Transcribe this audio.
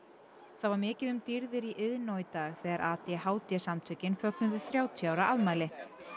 það var mikið um dýrðir í Iðnó í dag þegar a d h d samtökin fögnuðu þrjátíu ára afmæli